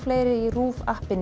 í RÚV